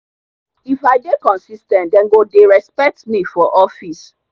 if i dey consis ten t dem go dey respect me for office.